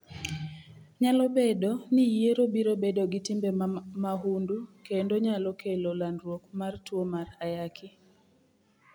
Nyalo bedo ni yiero biro bedo gi timbe mahundu kendo nyalo kelo landruok mar tuo mar Ayaki.